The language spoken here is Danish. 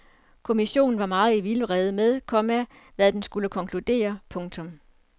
Kommissionen var meget i vildrede med, komma hvad den skulle konkludere. punktum